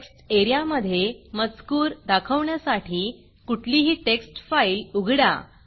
text एरियामधे मजकूर दाखवण्यासाठी कुठलीही टेक्स्ट फाईल उघडा